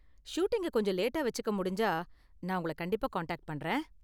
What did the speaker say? ஷூட்டிங்க கொஞ்சம் லேட்டா வெச்சுக்க முடிஞ்சா நான் உங்கள கண்டிப்பா காண்டாக்ட் பண்றேன்.